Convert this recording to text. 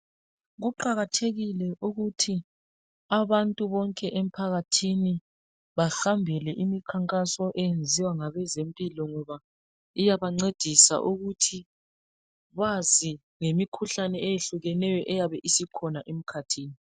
Kuqakathekile ukuthi abantu bonke emphakathini bahambele imikhankaso eyenziwa ngabezempilo, ngoba iyabancedisa ukuthi bazi ngemikhuhlane eyehlukeneyo eyabe isikhona emkhathini.